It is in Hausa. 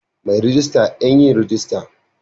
Mai rejista Yan yin rajista